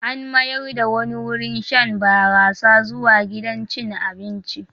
An mayar da wani wurin shan barasa zuwa gidan cin abinci.